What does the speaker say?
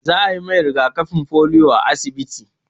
Za a yi mai riga-kafin polio a asibiti.